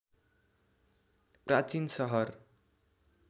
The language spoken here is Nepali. प्राचीन सहर